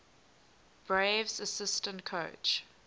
braves assistant coach